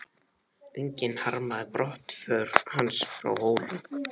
Enginn harmaði brottför hans frá Hólum.